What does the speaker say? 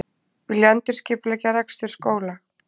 Vilja endurskipuleggja rekstur skóla